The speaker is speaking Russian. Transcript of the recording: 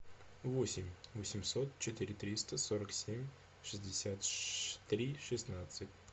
восемь восемьсот четыре триста сорок семь шестьдесят три шестнадцать